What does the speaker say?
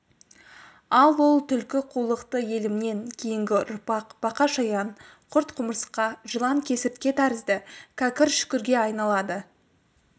ал ол түлкі қулықты елімнен кейінгі ұрпақ бақа-шаян құрт-құмырсқа жылан-кесіртке тәрізді кәкір-шүкірге айналады